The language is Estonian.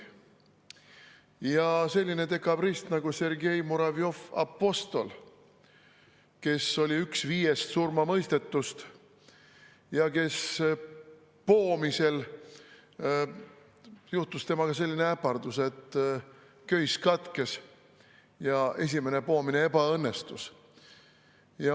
Oli selline dekabrist nagu Sergei Muravjov‑Apostol, kes oli üks viiest surmamõistetust ja kellega poomisel juhtus selline äpardus, et köis katkes ja esimene poomine ebaõnnestus.